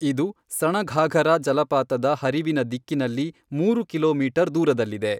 ಇದು ಸಣಘಾಘರಾ ಜಲಪಾತದ ಹರಿವಿನ ದಿಕ್ಕಿನಲ್ಲಿ ಮೂರು ಕಿಲೋಮೀಟರ್ ದೂರದಲ್ಲಿದೆ.